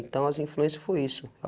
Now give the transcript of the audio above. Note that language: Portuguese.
Então as influências foi isso.